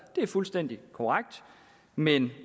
det er fuldstændig korrekt men